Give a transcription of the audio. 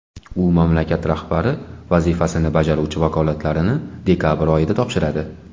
U mamlakat rahbari vazifasini bajaruvchi vakolatlarini dekabr oyida topshiradi .